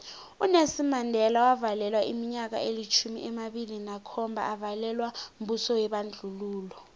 unelson mandela wavalelwa iminyaka elitjhumi amabili nakhomba avalelwa mbuso webandlululo